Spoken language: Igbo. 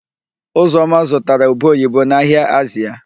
Ụzọma zụtara ube oyibo n'ahịa Azịa.